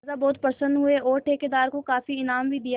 राजा बहुत प्रसन्न हुए और ठेकेदार को काफी इनाम भी दिया